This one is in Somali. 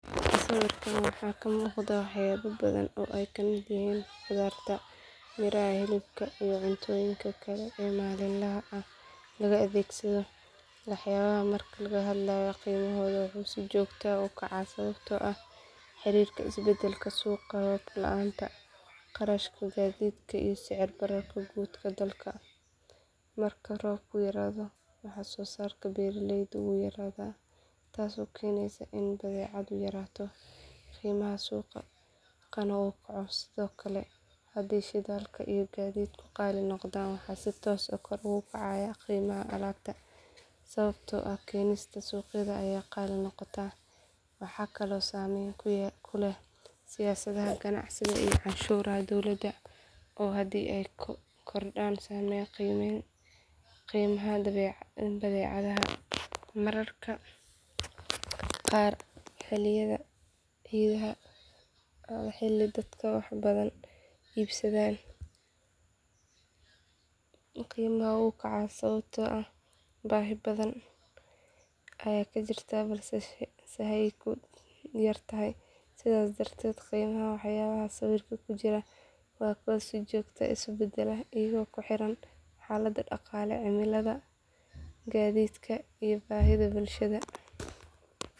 Sawirkaan waxaa ka muuqda waxyaabo badan oo ay ka mid yihiin khudaarta, miraha, hilibka iyo cuntooyinka kale ee maalinlaha ah laga adeegsado. Waxyaabahan marka laga hadlayo qiimahooda wuxuu si joogto ah u kacaa sababo la xiriira isbedbedelka suuqa, roob la’aanta, kharashka gaadiidka iyo sicir bararka guud ee dalka. Marka roobku yaraado wax soo saarka beeraleyda wuu yaraadaa taasoo keenaysa in badeecaddu yaraato qiimaha suuqana uu kaco. Sidoo kale haddii shidaalka iyo gaadiidku qaali noqdaan waxaa si toos ah kor ugu kacaya qiimaha alaabta sababtoo ah keenista suuqyada ayaa qaali noqota. Waxaa kaloo saameyn ku leh siyaasadda ganacsiga iyo canshuuraha dowladda oo haddii ay kordhaan saameeya qiimaha badeecadaha. Mararka qaar xilliyada ciidaha ama xilli dadka wax badan iibsadaan qiimaha wuu kacaa sababtoo ah baahi badan ayaa jirta balse sahaydu yar tahay. Sidaas darteed qiimaha waxyaabaha sawirka ku jira waa kuwo si joogto ah isu bedbeddela iyagoo ku xiran xaalada dhaqaale, cimilada, gaadiidka iyo baahida bulshada.